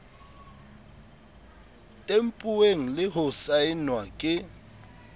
tempuweng le ho saenwa ke